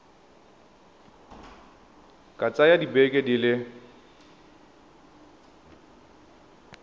ka tsaya dibeke di le